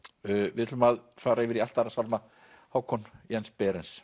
við ætlum að fara yfir í allt aðra sálma Hákon Jens